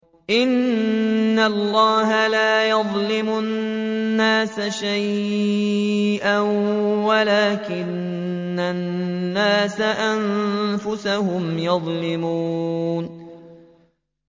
إِنَّ اللَّهَ لَا يَظْلِمُ النَّاسَ شَيْئًا وَلَٰكِنَّ النَّاسَ أَنفُسَهُمْ يَظْلِمُونَ